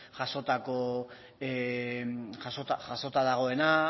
jasota dagoena